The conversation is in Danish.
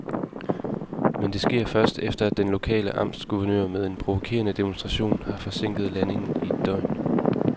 Men det sker først, efter at den lokale amtsguvernør med en provokerende demonstration har forsinket landingen i et døgn.